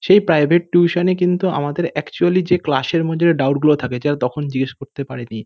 সেই private tuition -এ কিন্তু আমাদের একচুয়ালি যে ক্লাস -এর মধ্যে যে ডাউট গুলো থাকে যেটা তখন জিজ্ঞাস করতে পারিনি।